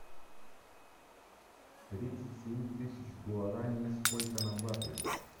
тридцать семь тысяч гуарани сколько на баты